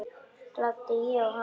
Glápti ég á hana?